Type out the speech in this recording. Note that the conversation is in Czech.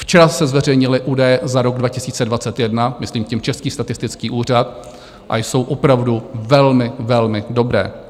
Včera se zveřejnily údaje za rok 2021, myslím tím Český statistický úřad, a jsou opravdu velmi, velmi dobré.